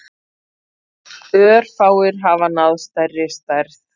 Örfáir hafa náð stærri stærð.